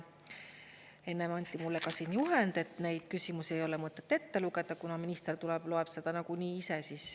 Enne anti mulle siin juhend, et neid küsimusi ei ole mõtet ette lugeda, kuna minister tuleb ja loeb neid nagunii ise.